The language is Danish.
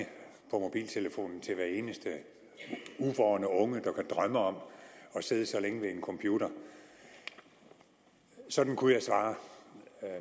mobiltelefonen til hver eneste uvorn ung som kunne drømme om at sidde så længe ved en computer sådan kunne jeg svare